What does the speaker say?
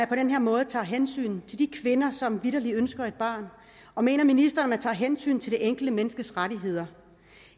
på den her måde tager hensyn til de kvinder som vitterlig ønsker et barn og mener ministeren at man tager hensyn til det enkelte menneskes rettigheder